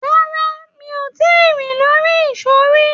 Rárá, mi ò tí ì rin lórí ìsó rí.